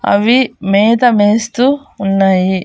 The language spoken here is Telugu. అవి మేత మేస్తూ ఉన్నాయి.